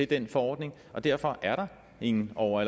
den forordning og derfor er der ingen over